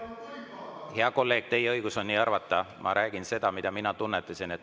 Hea kolleeg, teil on õigus on nii arvata, ma räägin seda, mida mina tunnetasin.